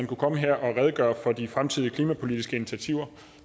kunne komme her og redegøre for de fremtidige klimapolitiske initiativer